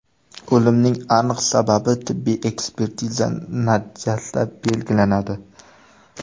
O‘limning aniq sababi tibbiy ekspertiza natijasida belgilanadi.